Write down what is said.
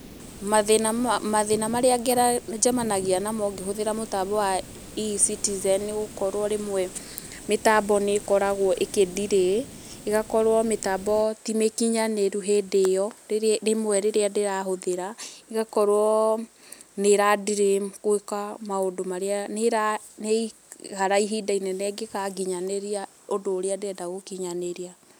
Mathĩna marĩa njemanagia namo ngĩhũthĩra mũtamnbo wa E-citizen nĩ gũkorwo rĩmwe mitambo nĩ ĩkoragwo ĩkĩ delay, ĩgakorwo mĩtambo ti mikinyanĩru, hĩndĩ ĩyo, rĩmwe rĩrĩa ndĩrahũthĩra ĩgakorwo nĩ ĩra delay gũĩka maũndũ marĩa, nĩ ĩra ikara ihinda inene ĩngĩgakinyanĩria ũndũ ũrĩa ndĩrenda gũkinyanĩria.